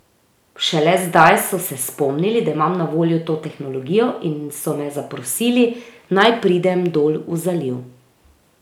Šele zdaj so se spomnili, da imam na voljo to tehnologijo, in so me zaprosili, naj pridem dol v zaliv ...